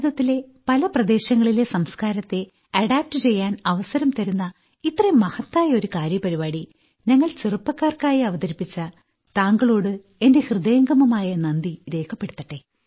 ഭാരതത്തിലെ പല പ്രദേശങ്ങളിലെ സംസ്ക്കാരത്തെ അഡോപ്റ്റ് ചെയ്യാൻ അവസരം തരുന്ന ഇത്രയും മഹത്തായ ഒരു കാര്യപരിപാടി ഞങ്ങൾ ചെറുപ്പക്കാർക്കായി അവതരിപ്പിച്ച താങ്കളോടു എന്റെ ഹൃദയംഗമായ നന്ദി രേഖപ്പെടുത്തട്ടെ